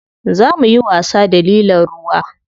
Zo muyi wasa da lilon ruwa.